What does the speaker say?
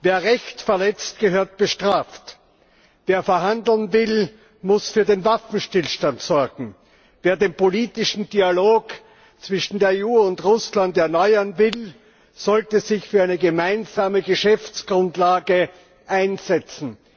Wer Recht verletzt, gehört bestraft! Wer Verhandlungen will, muss für den Waffenstillstand sorgen! Wer den politischen Dialog zwischen der EU und Russland erneuern will, sollte sich für eine gemeinsame Geschäftsgrundlage einsetzen.